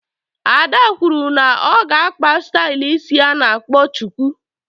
Ada kwụrụ na ọ ga-akpa stylu ịsị ana akpọ chuku.